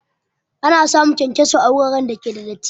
Ana samun kyankyaso a wuraren da ke da datti